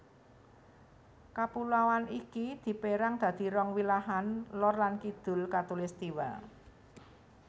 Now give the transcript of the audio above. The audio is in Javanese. Kapuloan iki dipérang dadi rong wilahan lor lan kidul khatulistiwa